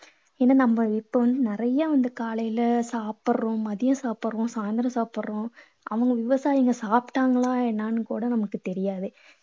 இது நம்ம இப்போ நிறைய வந்து காலைல சாப்பிடறோம். மதியம் சாப்பிடறோம். சாயந்திரம் சாப்பிடறோம். அவங்க விவசாயிங்க சாப்பிட்டாங்களா என்னன்னு கூட நமக்குத் தெரியாது.